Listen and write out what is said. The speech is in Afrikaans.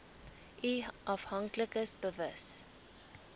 u afhanklikes bewus